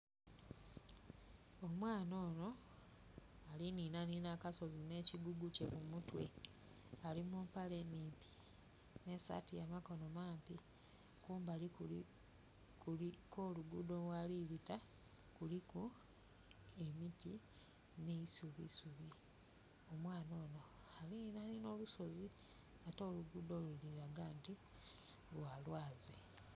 Omwaana ono ali ninanina akasozi ne kigugu kye ku mutwe ali mu mpale nnhimpi ne saati ya makono mampi, kumbali kwo lugudho ghali bita kuliku emiti ne eisubisubi. Omwaana ono ali ninanina olusozi ate olugudho lulaga nti lwalwazi.